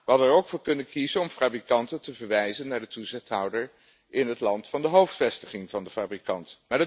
We hadden er ook voor kunnen kiezen om fabrikanten te verwijzen naar de toezichthouder in het land van de hoofdvestiging van de fabrikant.